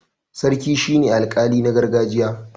sarki shi ne alƙali na gargajiya